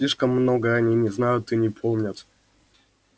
слишком много они не знают и не помнят